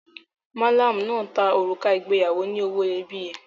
Malamu náà ta òrùka ìgbéyàwó olówó iyebíye.